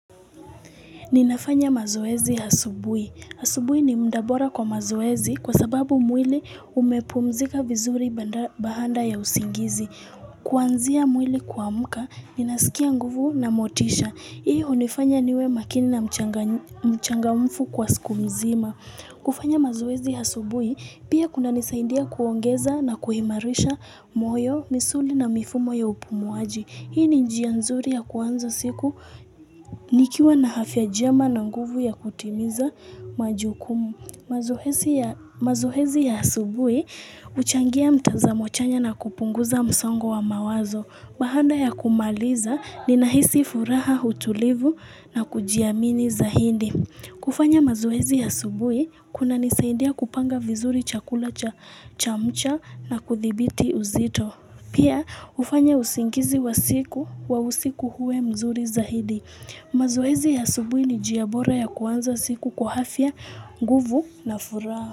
Ninafanya mazoezi ya asubuhi. Asubuhi ni muda bora kwa mazoezi kwa sababu mwili umepumzika vizuri baada ya usingizi. Kuanzia mwili kuamka, ninasikia nguvu na motisha. Hii hunifanya niwe makini na mchangamfu kwa siku mzima. Kufanya mazoezi asubuhi, pia kunanisaidia kuongeza na kuimarisha moyo, misuli na mifumo ya upumuaji. Hii ni njia nzuri ya kuanza siku nikiwa na afya njema na nguvu ya kutimiza majukumu. Mazoezi ya asubuhi huchangia mtazamo chanya na kupunguza msongo wa mawazo. Baada ya kumaliza ninahisi furaha utulivu na kujiamini zaidi. Kufanya mazoezi ya asubuhi kunanisaidia kupanga vizuri chakula cha mchana na kuthibiti uzito. Pia hufanya usingizi wa siku wa usiku uwe mzuri zaidi. Mazoezi ya asubuhi ni njia bora ya kuanza siku kwa afya, nguvu na furaha.